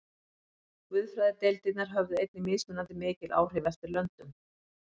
Guðfræðideildirnar höfðu einnig mismunandi mikil áhrif eftir löndum.